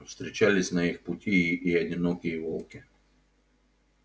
встречались на их пути и одинокие волки